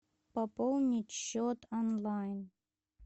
пополнить счет онлайн